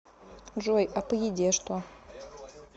джой а по еде что